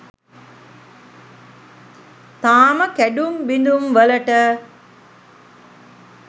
තාම කැඩුම් බිදුම් වලට